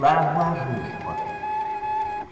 Lavar roupa.